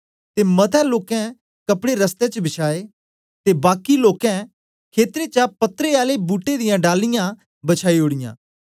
ते मते लोकें कपड़े रस्ते च बछाए ते बाकी आले लोकें ने खेतरें चा पत्रे आले बूट्टे दियां डालीया बछाई ओड़ीयां